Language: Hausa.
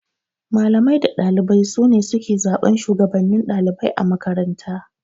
Malamai da ɗalibai sune suke zaɓan Shugabannin ɗalibai a makaranta